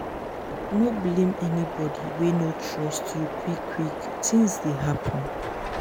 no blame anybodi wey no trust you quick-quick tins dey happen.